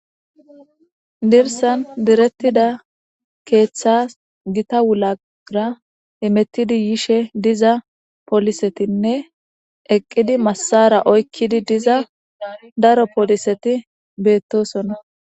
Dirssan direttida keethas Gita wulaabaggara hemettidi yishe diza poolisetinne eqqidi massaara oykkidi diza daro pooliseti beettoosona.